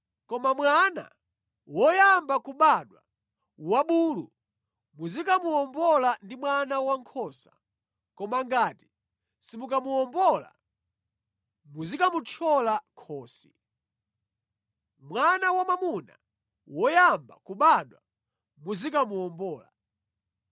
Koma mwana woyamba kubadwa wa bulu muzikamuwombola ndi mwana wankhosa, koma ngati simukamuwombola, muzikamuthyola khosi. Mwana wamwamuna woyamba kubadwa muzikamuwombola.